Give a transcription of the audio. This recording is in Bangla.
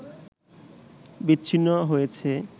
বিচ্ছিন্ন হয়েছে